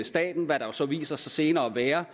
staten hvad der så viser sig senere at være